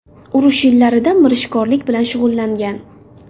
Urush yillarida mirishkorlik bilan shug‘ullangan.